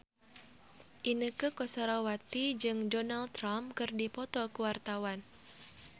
Inneke Koesherawati jeung Donald Trump keur dipoto ku wartawan